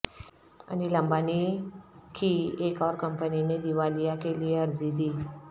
انل امبانی کی ایک اور کمپنی نے دیوالیہ کے لیے عرضی دی